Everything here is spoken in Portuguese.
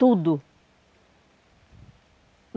Tudo!